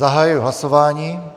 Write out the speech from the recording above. Zahajuji hlasování.